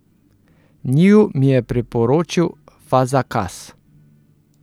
Njiju mi je priporočil Fazakas.